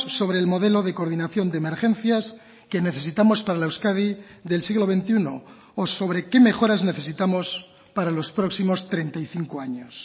sobre el modelo de coordinación de emergencias que necesitamos para la euskadi del siglo veintiuno o sobre qué mejoras necesitamos para los próximos treinta y cinco años